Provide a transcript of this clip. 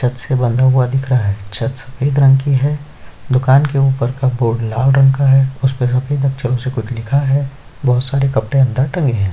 छत से बंधा हुआ दिख रहा है छत सफ़ेद रंग की है दुकान के ऊपर का बोर्ड लाल रंग का है उसपे सफ़ेद अक्षरों से कुछ लिखा है बहोत सारे कपड़े अंदर टंगे हुए है।